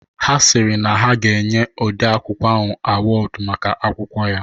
Ha sịrị na ha ga-enye ode akwụkwọ ahụ awọdu maka akwụkwọ ya